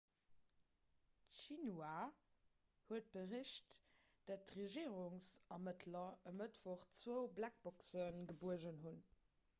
d'xinhua huet bericht datt d'regierungsermëttler e mëttwoch zwou blackboxen gebuergen hunn